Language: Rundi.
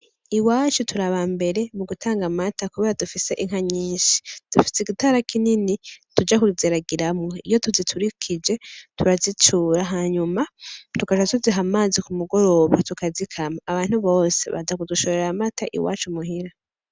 Iwacu tur'abambere m'ugutanga amata kubera dufise inka nyinshi .Dufise igitara kinini tuja kuziragiramwo iyo tuziturikije turazicura hanyuma tugaca tuziha amazi k'umugoroba tukazikama abantu bose baza kudushorer'amata iwacu muhira.